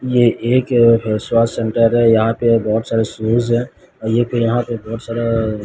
ये एक face wash centre है यहां पे बहोत सारे शूज है यहां पे बहोत सारा--